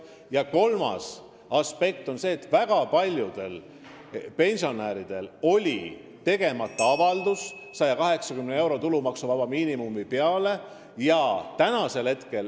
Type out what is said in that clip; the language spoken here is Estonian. Ja kolmas aspekt on see, et väga paljudel pensionäridel oli tegemata avaldus 180 euro ehk tulumaksuvaba miinimumi kohta.